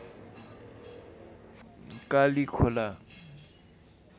Kalikhola